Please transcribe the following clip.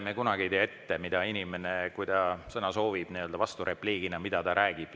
Me kunagi ei tea ette, mida inimene, kui ta sõna soovib nii-öelda vasturepliigina, mida ta räägib.